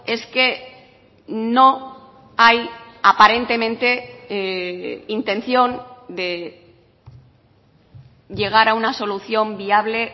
es que no hay aparentemente intención de llegar a una solución viable